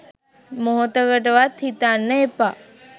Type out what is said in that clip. මොහොතකට වත් හිතන්න එපා.